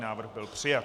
Návrh byl přijat.